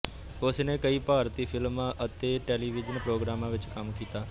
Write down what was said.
ਉਸਨੇ ਕਈ ਭਾਰਤੀ ਫਿਲਮਾਂ ਅਤੇ ਟੈਲੀਵਿਜ਼ਨ ਪ੍ਰੋਗਰਾਮਾਂ ਵਿੱਚ ਕੰਮ ਕੀਤਾ